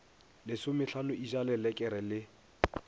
lesomehlano e ja lelekere le